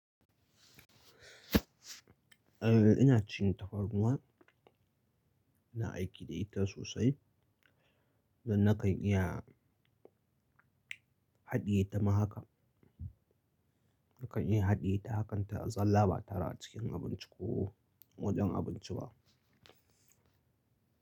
Eh ina cin tafarnuwa, ina aiki da ita sosai don nakan iya haɗiye ta mahaka. Nakan iya hadde ta hakan ta zala ba tare a cikin abunci ko wajen abinci ba.